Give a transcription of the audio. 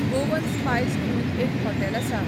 Goan Spice म्हणून एक hotel आसा.